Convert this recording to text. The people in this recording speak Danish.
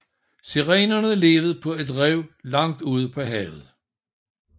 Sirenerne levede på et rev langt ude på havet